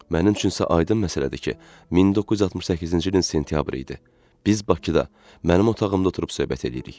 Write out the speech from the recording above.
Mənim üçün isə aydın məsələdir ki, 1968-ci ilin sentyabrı idi, biz Bakıda, mənim otağımda oturub söhbət eləyirik.